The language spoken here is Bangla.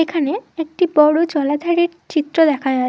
এখানে একটি বড় জলাধারে চিত্র দেখা যায়।